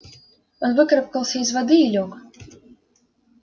он выкарабкался из воды и лёг